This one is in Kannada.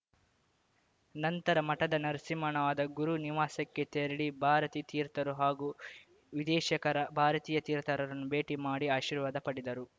ನಂತರ ಮಠದ ನರಸಿಂಹವಣದ ಗುರು ನಿವಾಸಕ್ಕೆ ತೆರಳಿ ಭಾರತೀ ತೀರ್ಥರು ಹಾಗೂ ವಿದೇಶಖರ ಭಾರತೀಯ ತೀರ್ಥರನ್ನು ಭೇಟಿ ಮಾಡಿ ಆಶೀರ್ವಾದ ಪಡೆದರು